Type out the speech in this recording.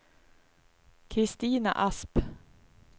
Christina Asp